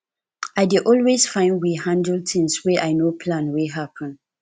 i dey always find way handle tins wey i no plan wey happen